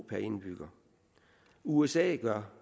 indbygger usa gør